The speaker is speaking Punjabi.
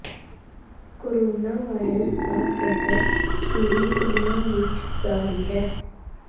ਕੋਰੋਨਾ ਵਾਇਰਸ ਦਾ ਕਹਿਰ ਪੂਰੀ ਦੁਨੀਆ ਵਿਚ ਜਾਰੀ ਹੈ